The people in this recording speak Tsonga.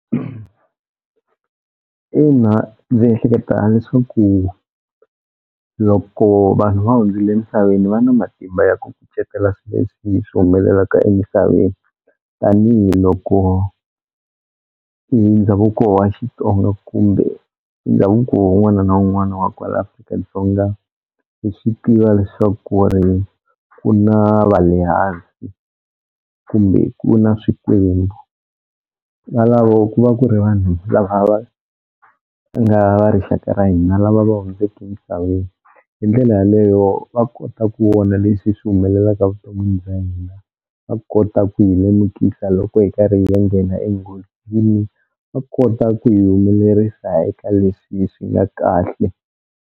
Ina ndzi ehleketa leswaku loko vanhu va hundzile emisaveni va na matimba ya ku kucetela swi leswi swi humelelaka emisaveni tanihiloko ndhavuko wa Xitsonga kumbe ndhavuko wun'wana na wun'wana wa kwala Afrika-Dzonga hi swi tiva leswaku ku ri ku na va le hansi kumbe ku na swikwembu, valavo ku va ku ri vanhu lava va nga va rixaka ra hina lava va hundzeke emisaveni, hi ndlela yaleyo va kota ku vona leswi swi humelelaka vuton'wini bya hina va kota ku hi lemukisa loko hi karhi ya nghena enghozini va kota ku hi humelerisa eka leswi swi nga kahle.